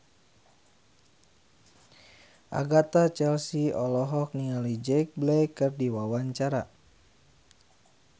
Agatha Chelsea olohok ningali Jack Black keur diwawancara